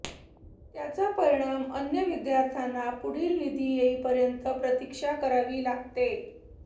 त्याचा परिणाम अन्य विद्यार्थ्यांना पुढील निधी येईपर्यंत प्रतीक्षा करावी लागते